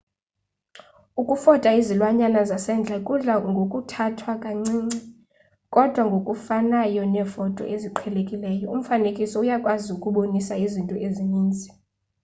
ukufota izilwanyana zasendle kudla ngokuthathwa kancinci kodwa ngokufanayo neefoto eziqhelekileyo umfanekiso uyakwazi ukubonisa izinto ezininzi